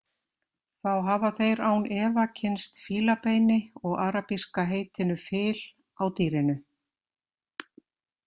Þá hafa þeir án efa kynnst fílabeini og arabíska heitinu fil á dýrinu.